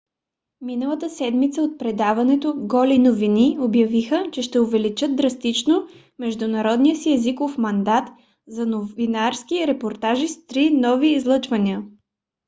миналата седмица от предаването голи новини обявиха че ще увеличат драстично международния си езиков мандат за новинарски репортажи с три нови излъчвания